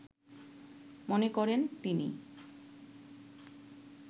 মনে করেন তিনি